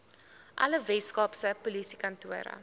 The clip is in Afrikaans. alle weskaapse polisiekantore